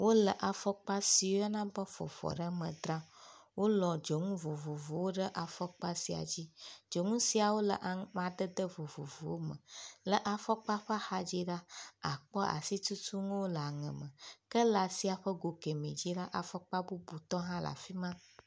Wole afɔkpa so woyɔna be ƒofɔɖeme dzram. Wolɔ̃ dzonu vovovowo ɖe afɔkpa sia dzi. Dzonu siawo le amadede vovovowo me. Le afɔkpa ƒe axadzi la, àkpɔ asitutunuwo le aŋe me ke le asi ƒe go keme dzi la, afɔkpatɔ bubu hã le afi ma.